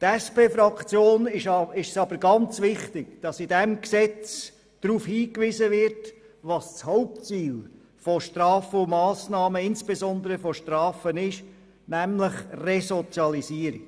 Der SP-JUSO-PSA-Fraktion ist es aber ganz wichtig, dass in diesem Gesetz darauf hingewiesen wird, was das Hauptziel von Massnahmen und insbesondere von Strafen ist – nämlich Resozialisierung.